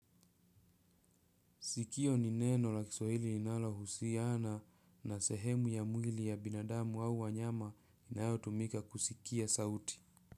Sikio ni neno la kiswahili linalohusiana na sehemu ya mwili ya binadamu au wanyama inayo tumika kusikia sauti.